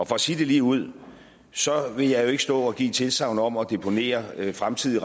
for at sige det ligeud så vil jeg jo ikke stå og give et tilsagn om at deponere fremtidige